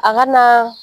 A ka na